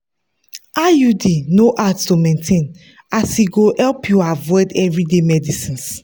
iud no dey hard to maintain as e go help you avoid everyday medicines.